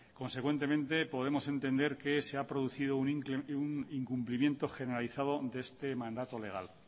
consecuentemente podemos entender que se ha producido un incumplimiento generalizado de este mandato legal